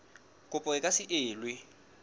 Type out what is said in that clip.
kopo e ka se elwe